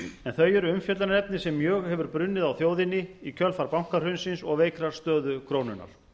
en þau eru umfjöllunarefni sem mjög hefur brunnið á þjóðinni í kjölfar bankahrunsins og veikrar stöðu krónunnar